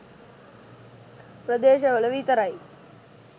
ප්‍රදේශවල විතරයි.